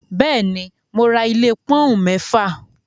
Bẹ́ẹ̀ ni, mo ra ilé pọ́ọ́úǹ mẹ́fà.